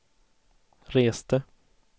reste